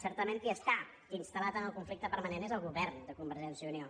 certament qui està instal·lat en el conflicte permanent és el govern de convergència i unió